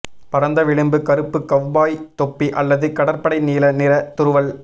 பரந்த விளிம்பு கறுப்பு கவ்பாய் தொப்பி அல்லது கடற்படை நீல நிற துருவல்